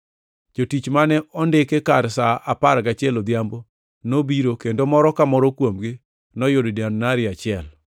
“Jotich mane ondiki kar sa apar gachiel odhiambo nobiro kendo moro ka moro kuomgi noyudo dinari achiel.